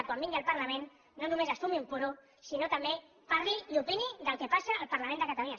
quan vingui al parlament no només es fumi un puro sinó que també parli i opini del que passa al parlament de catalunya